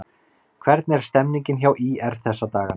Hvernig er stemmningin hjá ÍR þessa dagana?